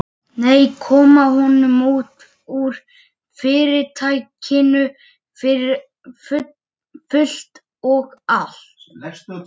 Hönnu-Mömmu þótti ekkert betra en appelsín með mat.